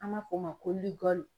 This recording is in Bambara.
An m'a fɔ o ma ko